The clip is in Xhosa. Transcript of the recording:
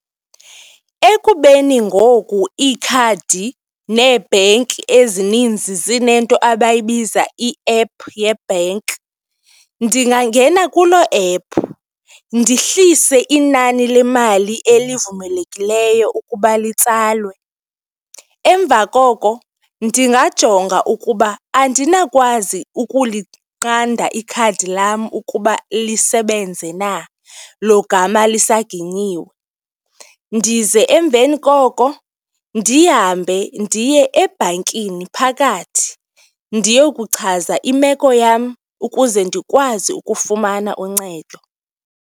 Ekubeni ngoku ikhadi nee-bhenki ezininzi zinento abayibiza i-app yebhenki, ndingangena kuloo app ndihlise inani lemali elivumelekileyo ukuba litsalelwe. Emva koko ndingajonga ukuba andinawukwazi ukulinqanda ikhadi lam ukuba lisebenze na, logama lisaginyiwe. Ndize emveni koko ndihambe ndiye ebhankini phakathi ndiyokuchaza imeko yam ukuze ndikwazi ukufumana uncedo.